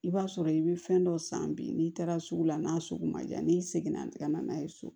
I b'a sɔrɔ i bɛ fɛn dɔ san bi n'i taara sugu la n'a sugu ma ja n'i seginna i tɛ ka na n'a ye so